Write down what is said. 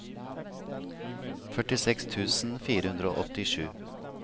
førtiseks tusen fire hundre og åttisju